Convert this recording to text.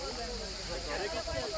Təpəyə bax, yavaş.